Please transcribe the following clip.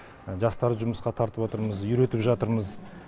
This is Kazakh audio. жастарды жұмысқа тартып атырмыз үйретіп жатырмыз